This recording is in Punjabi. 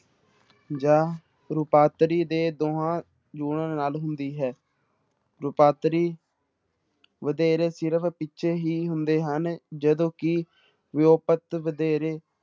ਜਾਂ ਰੂਪਾਂਤਰੀ ਦੇ ਦੋਹਾਂ ਜੁੜਨ ਨਾਲ ਹੁੰਦੀ ਹੈ ਰੂਪਾਂਤਰੀ ਵਧੇਰੇ ਸਿਰਫ਼ ਪਿੱਛੇ ਹੀ ਹੁੰਦੇ ਹਨ, ਜਦੋਂ ਕਿ ਵਿਊਪਤ ਵਧੇਰੇ